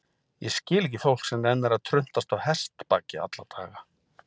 Ég skil ekki fólk sem nennir að truntast á hestbaki alla daga.